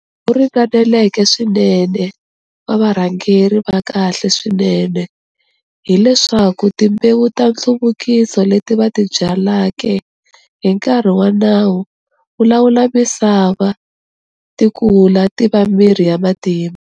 Ringaneleke swinene wa varhangeri va kahle swinene hi leswaku timbewu ta nhluvukiso leti va ti byaleke hi nkarhi wa nawu wo lawula misava ti kula ti va mirhi ya matimba.